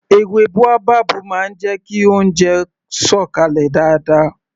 Èwe baobab máa ń jẹ kí oúnjẹ sọ̀ kalẹ̀ dáadáa